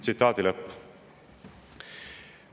Tsitaadi lõpp.